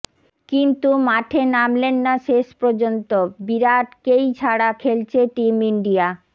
কিন্তু মাঠে নামলেন না শেষপর্যন্ত বিরাটকেই ছাড়া খেলছে টিম ইন্ডিয়া